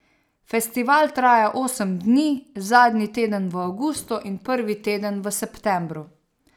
Festival traja osem dni, zadnji teden v avgustu in prvi teden v septembru.